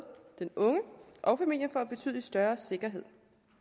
den unge og familien får betydelig større sikkerhed